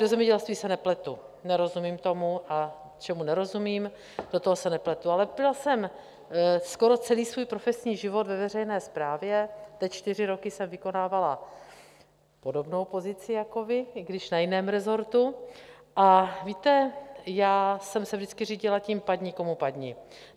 Do zemědělství se nepletu, nerozumím tomu, a čemu nerozumím, do toho se nepletu, ale byla jsem skoro celý svůj profesní život ve veřejné správě, teď čtyři roky jsem vykonávala podobnou pozici jako vy, i když na jiném resortu, a víte, já jsem se vždycky řídila tím, padni, komu padni.